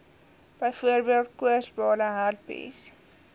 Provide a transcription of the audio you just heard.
byvoorbeeld koorsblare herpes